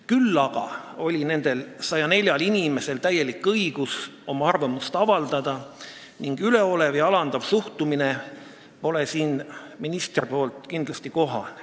Küll aga oli nendel 104 inimesel täielik õigus oma arvamust avaldada ning üleolev ja alandav suhtumine ministri poolt pole siin kindlasti kohane.